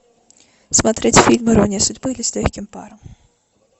смотреть фильм ирония судьбы или с легким паром